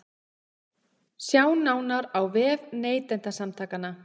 Sjá nánar á vef Neytendasamtakanna